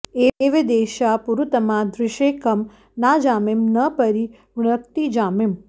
ए॒वेदे॒षा पु॑रु॒तमा॑ दृ॒शे कं नाजा॑मिं॒ न परि॑ वृणक्ति जा॒मिम्